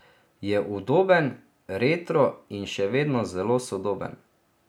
Je udoben, retro in še vedno zelo sodoben.